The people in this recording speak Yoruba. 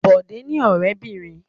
Bọ̀dé ní ọ̀rẹ́bìnrin.